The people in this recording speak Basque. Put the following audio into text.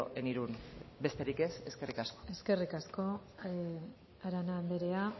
en irún besterik ez eskerrik asko eskerrik asko arana anderea